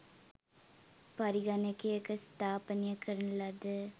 පරිගණකයක ස්ථාපනය කරන ලද